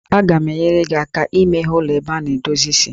Aga m enyere gị aka imeghe ụlọ ebe a na-edozi isi